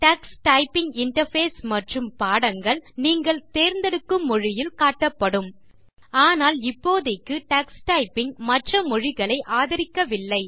Tux typing interface மற்றும் பாடங்கள் நீங்கள் தேர்ந்தெடுக்கும் மொழியில் காட்டப்படும் ஆனால் இப்போதைக்கு டக்ஸ் டைப்பிங் மற்ற மொழி ளை ஆதரிக்கவில்லை